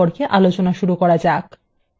একটি index বা সূচক কি